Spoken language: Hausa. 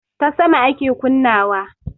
Ta sama ake kunna wa